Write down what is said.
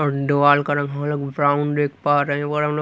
और दवाल का रंग हम लोग ब्राउन देख पा रहे हैं और--